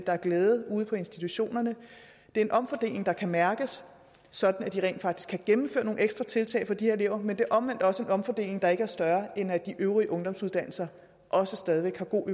er glæde ude på institutionerne det er en omfordeling der kan mærkes sådan at de rent faktisk kan gennemføre nogle ekstra tiltag for de her elever men det er omvendt også en omfordeling der ikke er større end at de øvrige ungdomsuddannelser også stadig væk har god